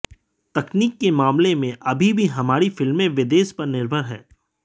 तकनीक के मामले में अभी भी हमारी फिल्में विदेश पर निर्भर हैं